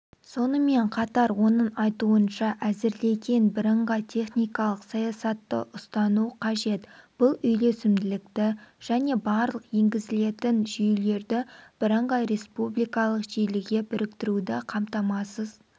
сонымен қатар оның айтуынша әзірлеген бірыңғай техникалық саясатты ұстану қажет бұл үйлесімділікті және барлық енгізілетін жүйелерді бірыңғай республикалық желіге біріктіруді қамтамасыз